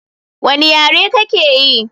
Wani yare ka ke yi?